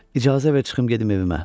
İcazə ver çıxım gedim evimə.